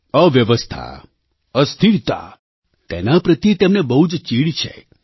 અવ્યવસ્થા અસ્થિરતા તેના પ્રત્યે તેમને બહુ જ ચીડ છે